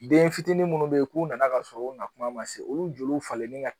Den fitinin minnu bɛ yen k'u nana ka sɔrɔ u na kuma ma se olu falen ni ka